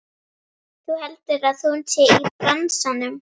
Þú heldur að hún sé í bransanum!